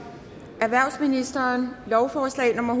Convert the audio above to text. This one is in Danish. erhvervsministeren lovforslag nummer